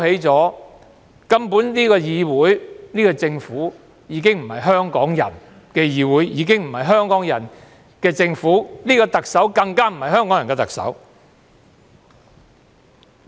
這個議會和政府根本已非香港人的議會和政府，這個特首更不是香港人的特首。